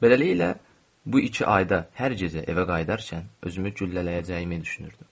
Beləliklə, bu iki ayda hər gecə evə qayıdarkən özümü güllələyəcəyimi düşünürdüm.